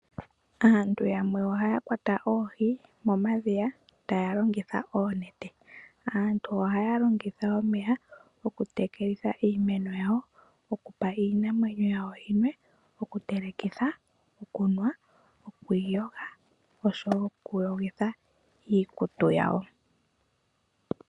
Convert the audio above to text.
Aantu yamwe ohaya kwata oohi momadhiya taya longitha oonete. Aantu ohaya longitha omeya okutekelitha iimeno yawo. Okupa iinamwenyo yawo yi nwe. Okutelekitha, okunwa, oku iyoga, oshowo okuyogitha iikutu yawo.